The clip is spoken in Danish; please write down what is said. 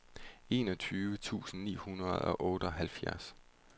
enogtyve tusind ni hundrede og otteoghalvfjerds